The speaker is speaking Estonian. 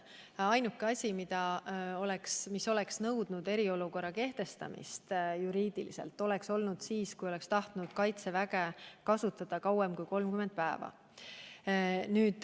Ainuke asjaolu, mis oleks juriidiliselt nõudnud eriolukorra kehtestamist, oleks olnud see, kui oleks tahetud kaitseväge kasutada kauem kui 30 päeva.